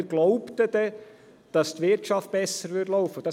Und wir glaubten dann, dass die Wirtschaft besser laufen würde.